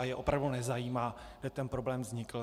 A je opravdu nezajímá, jak ten problém vznikl.